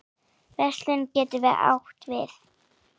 Verslun getur átt við